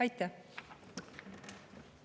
Aitäh!